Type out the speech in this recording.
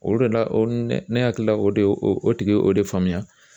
O de la o ne ne hakilila o de o tigi o de faamuya.